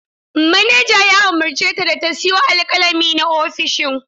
Manaja ya umarce ta da ta siyo alkalami na ofishin.